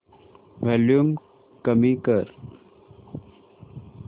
volume कमी कर